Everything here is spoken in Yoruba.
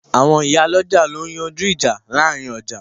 Àwọn ìyálọ́jà ló ń yanjú ìjà láàrin ọjà